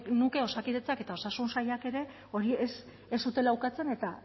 genuke osakidetzak eta osasun sailak ere hori ez zutela ukatzen eta